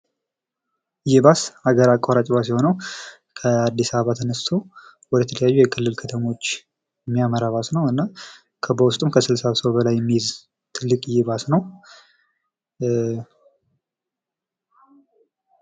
ይህ ባስ አገር አቋራጭ ባስ የሆነው ከአድስ አበባ ተነስቶ ወደተለያዩ የክልል ከተሞች የሚያመራ ባስ ነው። እና በውስጡም ከ60 ሰው በላይ የሚይዝ ትልቅየ ባስ ነው።